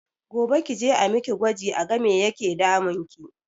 Gobe kije a miki gwaji a ga me yake damunki